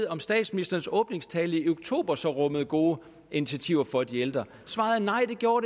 om statsministerens åbningstale i oktober så rummede gode initiativer for de ældre svaret er nej det gjorde